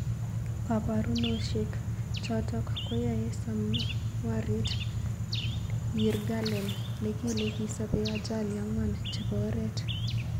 Kaparunosbek. chotok keyoe Samrawit Yirgalem nekile kisopei ajali ang'wan chepo oret